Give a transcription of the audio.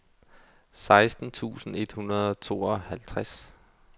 seksten tusind et hundrede og tooghalvtreds